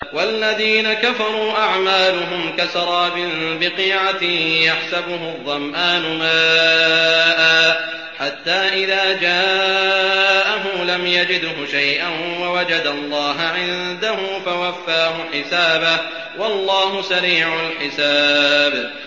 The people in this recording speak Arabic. وَالَّذِينَ كَفَرُوا أَعْمَالُهُمْ كَسَرَابٍ بِقِيعَةٍ يَحْسَبُهُ الظَّمْآنُ مَاءً حَتَّىٰ إِذَا جَاءَهُ لَمْ يَجِدْهُ شَيْئًا وَوَجَدَ اللَّهَ عِندَهُ فَوَفَّاهُ حِسَابَهُ ۗ وَاللَّهُ سَرِيعُ الْحِسَابِ